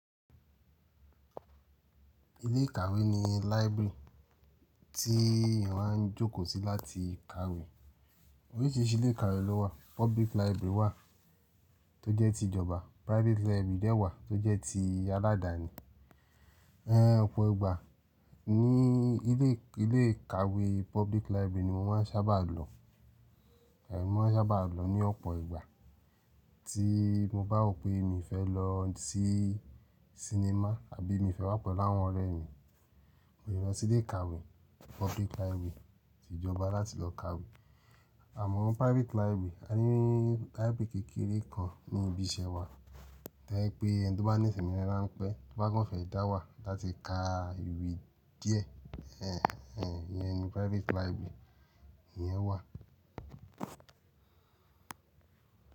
Ilé ìkàwé ni library tí eyan á ń jókòó sí láti kàwé. Oríṣìíríṣìí ilé ìkàwé ló wà. Public library wà tó jẹ́ ti ìjọba, private library dẹ̀ wà tó jẹ́ ti aládàáni. Ẹ̀ Ọ̀pọ̀ ìgbà ní ilé, ilé ìkàwé public library ni mo máa ń sábà lọ. Êyí ni mo má ń sábà lọ ní ọ̀pọ̀ ìgbà. Tí mo bá rò pé mi fẹ́ lọ sí cinema àbí mi fẹ́ wá pẹ̀lú àwọn ọ̀rẹ́ mi, mo lè lọ sílé ìkàwé public library ti ìjọba láti lọ kàwé. Àmọ́ private library, a rí private library kékeré kan ní ibi iṣẹ́ wa. Toje pé ẹni tó bá ní ìsinmi ránpẹ́, tó bá gán fẹ́ ìdáwà láti ka ìwé díẹ̀. Ẹ̀ ẹ̀ yẹn ni private library iyẹn wà.